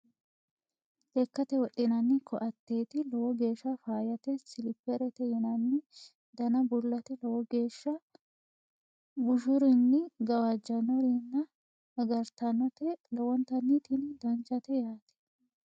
lekkate wodhinanninni koateeti lowo geeshsha faayyate siliperete yinanni dana bullate lowo geeshsha bushurinni gawajjannorinni agartannote lowontanni tini danchate yaate .